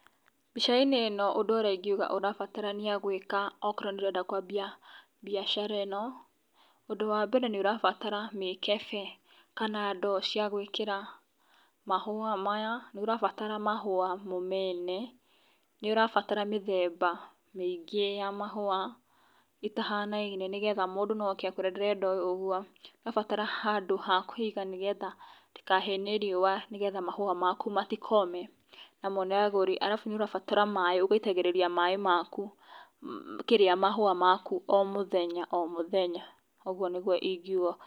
Mbicainĩ ĩno ũndũ ũrĩa ingĩuga ũrabatarania gwĩka o korwo nĩ ũrenda kwambia mbiacara ĩno ũndũ wambere nĩ ũrabatara mĩkebe kana ndoo cia gwĩkĩra mahũa maya, nĩ ũrabatara mahũa mo mene, nĩ ũrabatara mĩthemba mĩingĩ ya mahũa ĩtahanaine nĩgetha mũndũ no oke akwĩĩre ndĩrenda oũguo. Nĩ ũrabatara handũ ha kũiga nĩgetha ndĩkahie nĩ riũa nĩgetha mahũa maku matikome na mone agũri ,arabu nĩ ũrabatara maaĩ ũgaitagĩrĩria maĩ maku kĩria mahũa maku o mũthenya o mũthenya ũguo nĩguo ingĩuga.